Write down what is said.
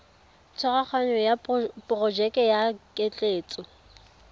tshwaraganyo ya porojeke ya ketleetso